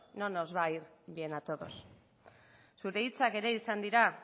no nos va ir bien a todos zure hitzak ere izan dira